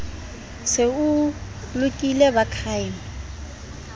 se o lokile ba crime